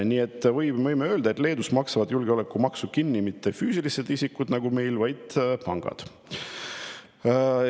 Nii et võime öelda, et Leedus maksavad julgeolekumaksu kinni mitte füüsilised isikud nagu meil, vaid pangad.